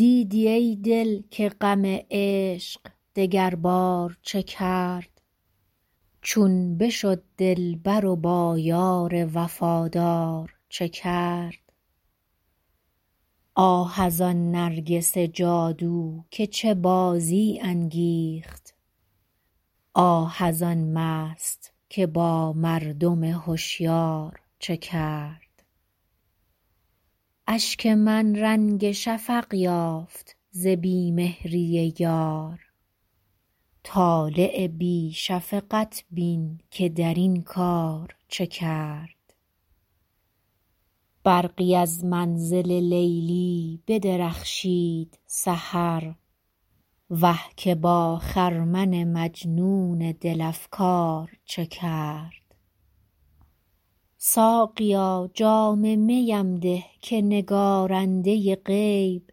دیدی ای دل که غم عشق دگربار چه کرد چون بشد دلبر و با یار وفادار چه کرد آه از آن نرگس جادو که چه بازی انگیخت آه از آن مست که با مردم هشیار چه کرد اشک من رنگ شفق یافت ز بی مهری یار طالع بی شفقت بین که در این کار چه کرد برقی از منزل لیلی بدرخشید سحر وه که با خرمن مجنون دل افگار چه کرد ساقیا جام می ام ده که نگارنده غیب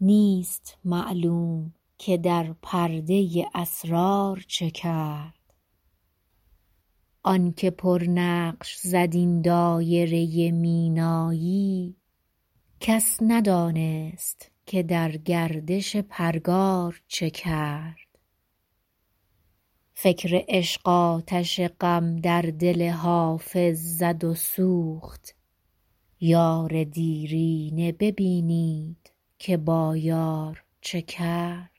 نیست معلوم که در پرده اسرار چه کرد آن که پرنقش زد این دایره مینایی کس ندانست که در گردش پرگار چه کرد فکر عشق آتش غم در دل حافظ زد و سوخت یار دیرینه ببینید که با یار چه کرد